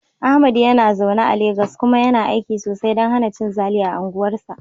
Ahmad yana zaune a Legas kuma yana aiki sosai don hana cin zali a unguwarsa.